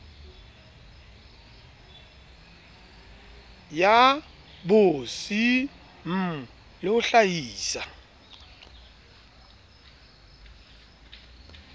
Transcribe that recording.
ya bcm le ho hlaisa